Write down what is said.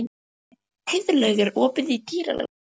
Heiðlaug, er opið í Dýralandi?